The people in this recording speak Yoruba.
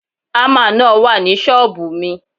Ámà náà wà ní ṣọ́ọ̀bù mi.